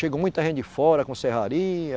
Chegou muita gente de fora com Serraria.